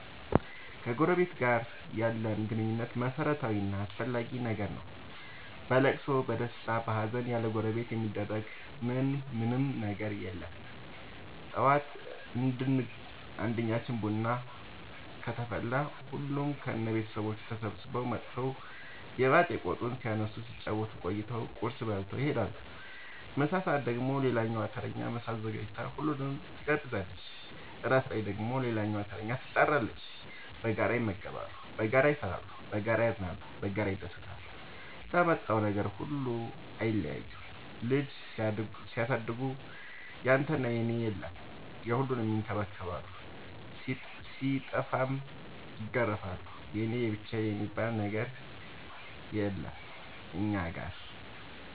ከጎረበት ጋር ያለን ግንኙነት መረታዊ እና አስፈላጊ ነገር ነው። በለቅሶ በደስታ በሀዘን ያለጎረቤት የሚደረግ ምን ምንም ነገር የለም ጠዋት አንድኛችን ቤት ቡና ከተፈላ ሁሉም ከነ ልጆቹ ተሰብስበው መተው የባጥ የቆጡን ሲያነሱ ሲጫወቱ ቆይተው ቁርስ በልተው ይሄዳሉ። ምሳ ሰአት ደግሞ ሌላኛዋ ተረኛ ምሳ አዘጋጅታ ሁሉንም ትጋብዛለች። እራት ላይ ደግሞ ሌላኛዋተረኛ ትጣራለች። በጋራ ይመገባሉ በጋራ ይሰራሉ። በጋራ ያዝናሉ በጋራ ይደሰታሉ ለመጣው ነገር ሁሉ አይለያዩም ልጅ ሲያሳድጉ ያንተና የኔ የለም የሁሉንም ይከባከባሉ ሲጠፉም ይገርፋሉ የኔ የብቻዬ የሚባል አንድም ነገር የለም እኛ ጋር።